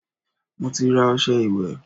Mo ti ra ọṣẹ ìwẹ̀